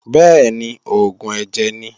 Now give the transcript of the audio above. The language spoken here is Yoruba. Bẹ́ẹ̀ni, oògùn ẹ̀jẹ̀ ni.